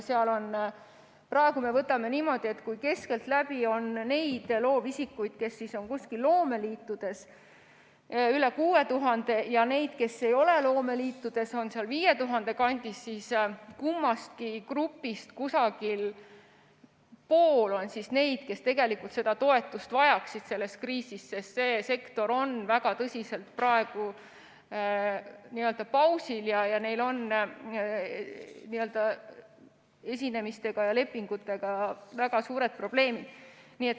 Praegu me võtame niimoodi, et kui keskeltläbi on loovisikuid, kes on loomeliitudes, üle 6000, ja neid, kes ei ole loomeliitudes, on 5000 kandis, siis kummastki grupist umbes pool on neid, kes seda toetust selles kriisis vajaksid, sest see sektor on väga tõsiselt praegu pausil ja neil on esinemiste ja lepingutega väga suured probleemid.